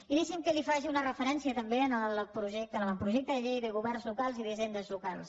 i deixi’m que li faci una referència també al projecte a l’avantprojecte de llei de governs locals i d’hisendes locals